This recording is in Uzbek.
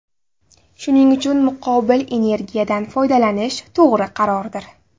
Shuning uchun muqobil energiyadan foydalanish to‘g‘ri qarordir.